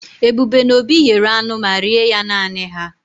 Ebube na Obi yere anu ma rie ya nani ha.